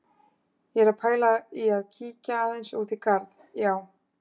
Ég er að pæla í að kíkja aðeins út í garð, já.